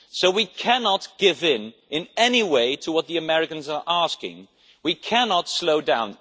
So we cannot give in, in any way, to what the Americans are asking. We cannot slow down